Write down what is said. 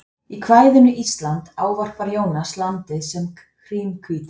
í kvæðinu ísland ávarpar jónas landið sem hrímhvíta